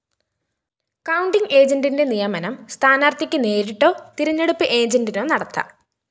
counting ഏജന്റിന്റെ നിയമനം സ്ഥാനാര്‍ഥിക്ക്‌ നേരിട്ടോ തിരഞ്ഞെടുപ്പ്‌ ഏജന്റിനോ നടത്താം